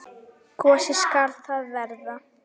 Gosi skal það vera.